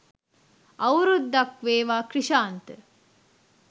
අවුරුද්දක් වේවා ක්‍රිෂාන්ත